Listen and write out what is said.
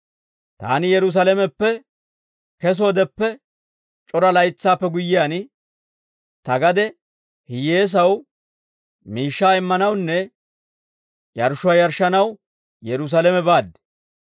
«Taani Yerusaalameppe kesoodeppe c'ora laytsaappe guyyiyaan, ta gade hiyyeesaw miishshaa immanawunne yarshshuwaa yarshshanaw Yerusaalame baad.